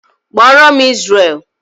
Kpọọ ro'm Izrel!